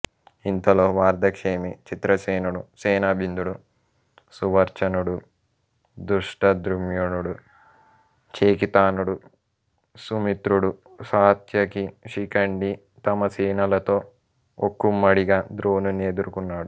ఇంతలో వార్ధక్షేమి చిత్రసేనుడు సేనాబిందుడు సువర్చనుడు ధృష్టద్యుమ్నుడు చేకితానుడు సుమిత్రుడు సాత్యకి శిఖండి తమ సేనలతో ఒక్కుమ్మడిగా ద్రోణుని ఎదుర్కొన్నారు